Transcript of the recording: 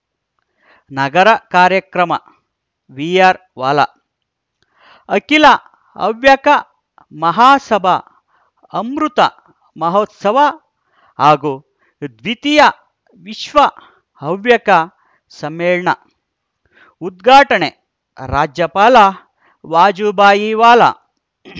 ನಗರ ಕಾರ್ಯಕ್ರಮ ವಿಆರ್‌ವಾಲಾ ಅಖಿಲ ಹವ್ಯಕ ಮಹಾಸಭಾ ಅಮೃತ ಮಹೋತ್ಸವ ಹಾಗೂ ದ್ವೀತಿಯ ವಿಶ್ವ ಹವ್ಯಕ ಸಮ್ಮೇಳನ ಉದ್ಘಾಟನೆ ರಾಜ್ಯಪಾಲ ವಜುಭಾಯಿ ವಾಲಾ